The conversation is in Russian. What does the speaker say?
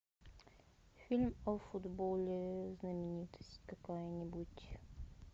фильм о футболе знаменитость какая нибудь